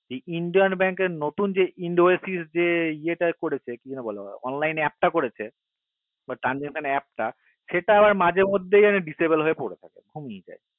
indian bank এর নতুন যে indoesis যে ইয় টা করেছে কি নাম বলে ওটাকে online app টা করেছে বা transection app টা সেটা আবার মাঝে মধ্যেই disable হয়ে পরে থাকে